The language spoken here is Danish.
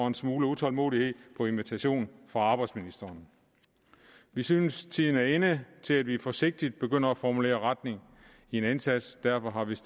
en smule utålmodighed på invitation fra arbejdsministeren vi synes tiden er inde til at vi forsigtigt begynder at formulere retning i en indsats derfor